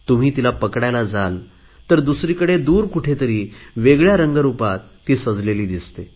तुम्ही तिला पकडायला जाल तर दुसरीकडे दूर कुठेतरी वेगळया रंग रुपात ती सजलेली दिसते